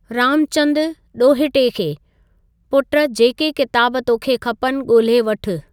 रामचंदु (डो॒हिटे खे): पुट जेके किताब तोखे खपनि गो॒ल्हे वठु।